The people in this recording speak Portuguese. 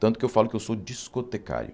Tanto que eu falo que eu sou discotecário.